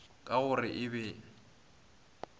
ka go re e be